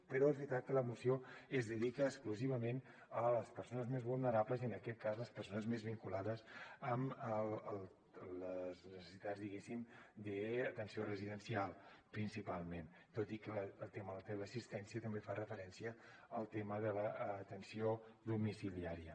però és veritat que la moció es dedica exclusivament a les persones més vulnerables i en aquest cas les persones més vinculades amb les necessitats diguéssim d’atenció residencial principalment tot i que el tema de la teleassistència també fa referència al tema de l’atenció domiciliària